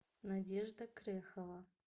надежда крехова